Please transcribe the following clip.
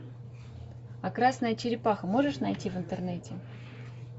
а красная черепаха можешь найти в интернете